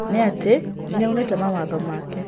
Na atĩ nĩaunĩte mawatho make.